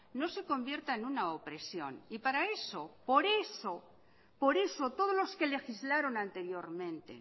no se convierta en una opresión y para eso por eso todos los que legislaron anteriormente